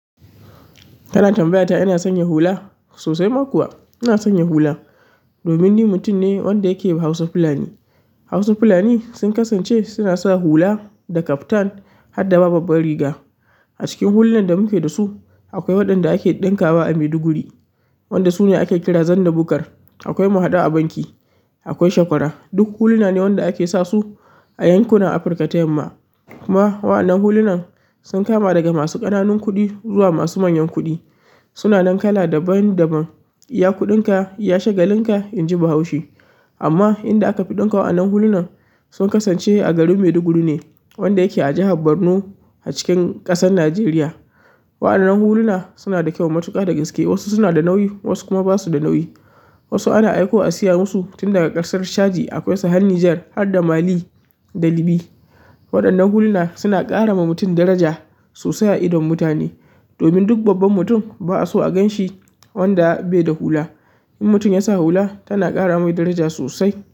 Kana tambayata ina sanya hula? Sosai ma kuwa ina sanya hula. Domin ni mutum ne wanda yake haus fulani. Hausa fulani sun kasance suna sa hula da kaftan har da ma babban riga. A cikin hulunan da muke da su akwai waɗanda ake ɗinka wa a Maiduguri, wanda su ne ake kira zandabukar. Akwai mahadu a banki, akwai shakwara, duk huluna ne waɗanda ake sa su a yankuna Afirka ta yamma. Kuma wa'anan hulunan sun kama daga masu ƙananun kuɗi zuwa masu manyan kuɗi. Suna nan kala daban daban. Iya kuɗinka, ya shagalin ka, in ji Bahaushi. Amma inda aka fi ɗinka wa'anan hulunan sun kasance a garin Maiduguri ne, wanda yake a jihar Borno a cikin ƙasar Najeriya. Wa'anan huluna suna da kyau matuƙa da gaske. Wasu suna da nauyi, wasu kuma ba su da nauyi. Wasu ana aiko a siya musu tun daga ƙasar Chadi akwai sa hannu Niger har da Mali da Libya. Waɗannan huluna suna ƙara ma mutum daraja sosai a idon mutane. Domin duk babban mutum ba a so a gan shi wanda bai da hula. In mutum ya sa hula tana ƙara mai daraja sosai.